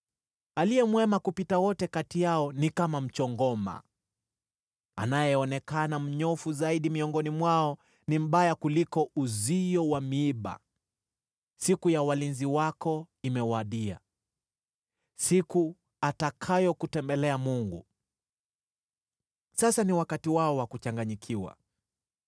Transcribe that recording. Aliye mwema kupita wote kati yao ni kama mchongoma, anayeonekana mnyofu zaidi miongoni mwao ni mbaya kuliko uzio wa miiba. Siku ya walinzi wako imewadia, siku atakayokutembelea Mungu. Sasa ni wakati wao wa kuchanganyikiwa.